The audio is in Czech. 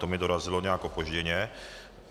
To mi dorazilo nějak opožděně.